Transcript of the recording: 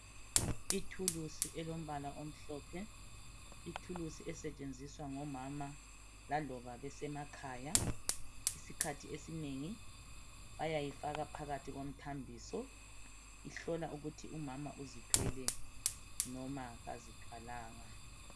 Ithulusi elombala omhlophe. Ithulusi esetshenziswa ngomama laloba besemakhaya. Isikhathi esinengi bayayifaka phakathi komthambiso ihlola ukuthi umama uzithwele noma kazithwalanga.